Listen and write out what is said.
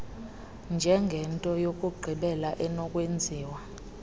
njengento yokugqibela enokwenziwa